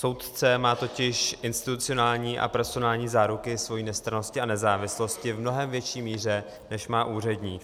Soudce má totiž institucionální a personální záruky svojí nestrannosti a nezávislosti v mnohem větší míře, než má úředník.